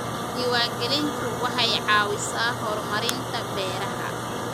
Diiwaangelintu waxay caawisaa horumarinta beeraha.